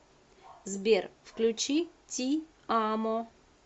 сбер включи ти амо